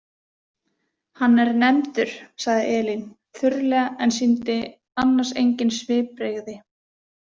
Hann er nefndur, sagði Elín þurrlega en sýndi annars engin svipbrigði.